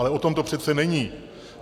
Ale o tom to přece není.